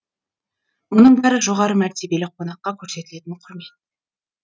мұның бәрі жоғары мәртебелі қонаққа көрсетілетін құрмет